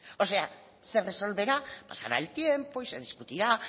o sea se resolverá pasará el tiempo y se discutirá